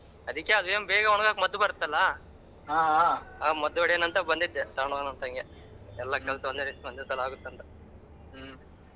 ಅದಿಕ್ಕೆ ಆದೇನ ಬೇಗ ಒಣಗೋಕಕ್ ಮದ್ದ್ ಬರುತ್ತಲ್ಲ ಆ ಮದ್ದ್ ಓಡಿಯೊಣ ಅಂತ ಬಂದಿದೆ ತಕ್ಕೊಂಡೋಗೋನ ಅಂತ ಹಂಗೆ ಎಲ್ಲ ಕೆಲಸ ಒಂದೇ ರೀತಿ ಒಂದೇ ಸಲಾ ಆಗುತ್ತೆ ಅಂತ .